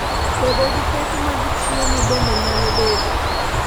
bedo gi pek mag chiemo bende nyalo bedo